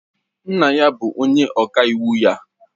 Nne ya bụ onye ọka iwu ya